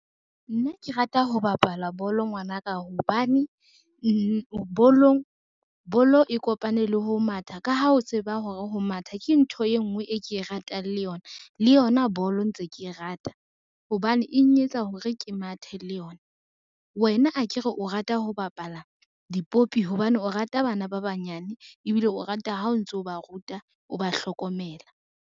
Nna ke rata ho bapala bolo ngwanaka hobane bolo e kopane le ho matha ka ha o tseba hore ho matha ke ntho e ngwe e ke e ratang le yona, le yona bolo ntse ke e rata hobane eng e etsa hore ke mathe le yona. Wena akere o rata ho bapala dipopi hobane o rata bana ba banyane ebile o rata ha o ntso ba ruta o ba hlokomela.